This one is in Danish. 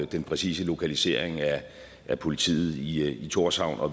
den præcise lokalisering af politiet i thorshavn og